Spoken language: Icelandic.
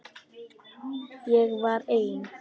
Ég var ein.